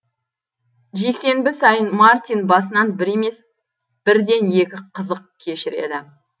жексенбі сайын мартин басынан бір емес бірден екі қызық кешіреді